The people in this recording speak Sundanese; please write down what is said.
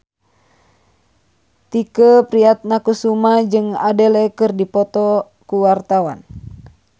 Tike Priatnakusuma jeung Adele keur dipoto ku wartawan